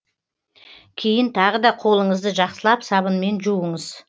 кейін тағы да қолыңызды жақсылап сабынмен жуыңыз